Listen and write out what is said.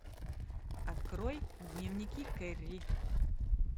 открой дневники керри